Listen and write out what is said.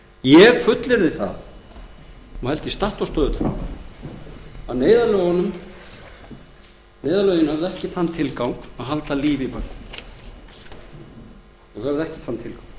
ég fullyrði það og held því statt og stöðugt fram að neyðarlögin höfðu ekki þann tilgang að halda lífi í bönkunum og